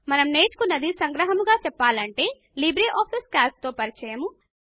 మనము నేర్చుకున్నది సంగ్రహముగా చెప్పాలి అంటే లిబ్రేఆఫీస్ కాల్క్ తో పరిచయము